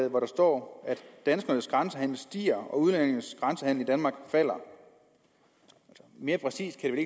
hvor der står at danskernes grænsehandel stiger og udlændinges grænsehandel i danmark falder mere præcist kan